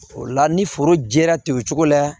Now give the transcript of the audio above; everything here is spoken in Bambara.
O la ni foro jɛra ten o cogo la